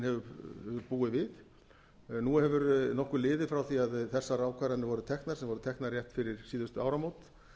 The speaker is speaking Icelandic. hefur búið við nú hefur nokkuð liðið frá því að þessar ákvarðanir voru teknar sem voru teknar rétt fyrir síðustu áramót